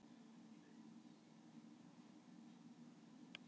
Aðeins ein rafeind getur setið á hverju orkustigi.